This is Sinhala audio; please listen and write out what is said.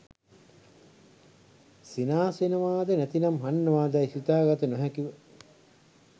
සිනාසෙනවාද නැතිනම් හඩනවාදැයි සිතාගත නොහැකිව